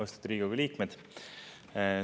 Austatud Riigikogu liikmed!